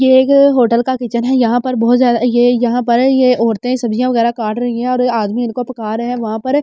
यह एक अ होटल का किचन हैं यहाँ पर बहुत ज़्यादा ये यहाँ पर ये औरतें सब्ज़िया वगैरा काट रही हैं और आदमी इनको पुकारे वहां पर --